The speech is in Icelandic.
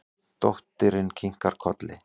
Dóttirin kinkar kolli.